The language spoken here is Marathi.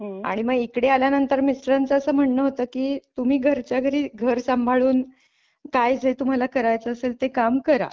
आणि मग इकडे आल्यानंतर मिस्टरांच असं म्हणणं होतं की तुम्ही घरच्या घरी घर सांभाळून काय ज तुम्हाला करायचं असेल ते काम करा.